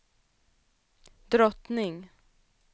drottning